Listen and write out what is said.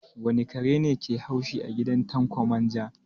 Wane kare ne ke haushi a gidan Tanko manja?